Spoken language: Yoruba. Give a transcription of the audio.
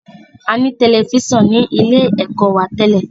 A ní Tẹlifísàn ní ilé ẹ̀kọ́ wa tẹ́lẹ̀